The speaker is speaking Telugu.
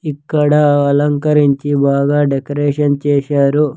ఇక్కడ అలంకరించి బాగా డెకరేషన్ చేశారు.